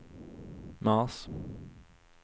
mars